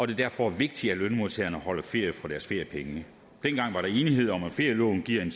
det derfor er vigtigt at lønmodtagerne holder ferie for deres feriepenge dengang var der enighed om at ferieloven giver en